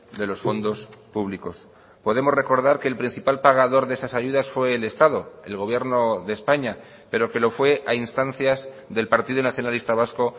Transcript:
de los fondos públicos podemos recordar que el principal pagador de esas ayudas fue el estado el gobierno de españa pero que lo fue a instancias del partido nacionalista vasco